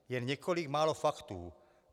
Jen několik málo faktů.